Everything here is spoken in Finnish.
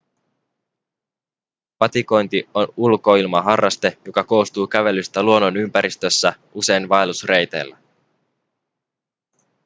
patikointi on ulkoilmaharraste joka koostuu kävelystä luonnonympäristössä usein vaellusreiteillä